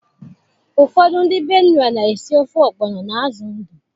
Ụfọdụ ndị benue na esi ofe ọgbọno na azụ ndụ